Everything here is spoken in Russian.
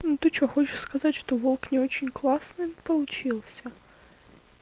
ну ты что хочешь сказать что волк не очень классный получился